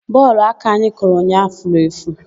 Bọọlụ aka anyị kụrụ ụnyaahụ furu efu.